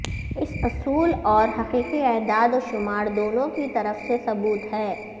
اس اصول اور حقیقی اعداد و شمار دونوں کی طرف سے ثبوت ہے